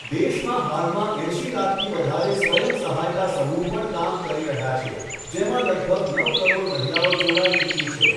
દેશમાં હાલમાં એંશી લાખથી વધારે સ્વયં સહાયતા સમૂહ પણ કામ કરી રહ્યા છે જેમાં લગભગ નવ કરોડ મહિલાઓ જોડાઈ ચૂકી છે.